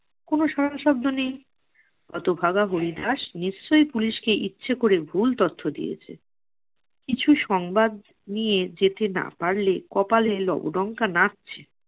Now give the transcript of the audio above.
কোনো সারাশব্দ নেই, হতভাগা হরিদাস নিশ্চই পুলিশকে ইচ্ছে করে ভুল তথ্য দিয়েছে। কিছু সংবাদ নিয়ে যেতে না পারলে কপালে লবডঙ্কা নাচ্ছে।